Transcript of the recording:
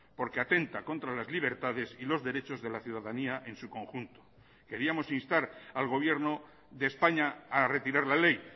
por que atenta contra las libertades y los derechos de la ciudadanía en su conjunto queríamos instar al gobierno de españa a retirar la ley